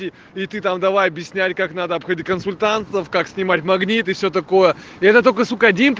и ты там давай объясняй как надо обходить консультантов как снимать магниты все такое это только суп